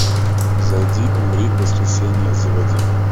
зайди умри воскресенье заводи